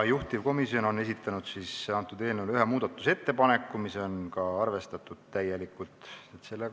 Juhtivkomisjon on esitanud eelnõu kohta ühe muudatusettepaneku, mida on täielikult arvestatud.